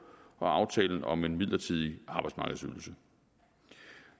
og aftalen om en midlertidig arbejdsmarkedsydelse